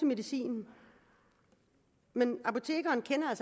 medicin men apotekeren kender